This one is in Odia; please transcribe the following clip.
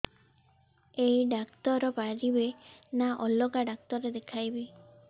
ଏଇ ଡ଼ାକ୍ତର ପାରିବେ ନା ଅଲଗା ଡ଼ାକ୍ତର ଦେଖେଇବି